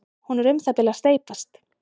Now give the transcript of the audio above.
hún er um það bil að steypast